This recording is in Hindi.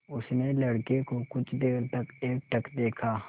उसने लड़के को कुछ देर तक एकटक देखा